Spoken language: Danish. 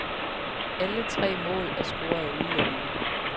Alle tre mål er scoret af udlændinge.